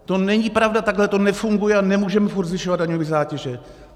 To není pravda, takhle to nefunguje a nemůžeme pořád zvyšovat daňové zátěže.